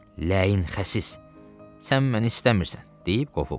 Ləin xəsis, sən məni istəmirsən deyib qovub.